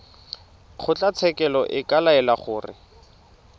kgotlatshekelo e ka laela gore